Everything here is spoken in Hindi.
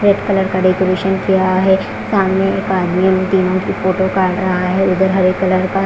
रेड कलर का डेकोरेशन किया है समाने एक आदमी फोटो काड रहा है उदर हरे कलर का--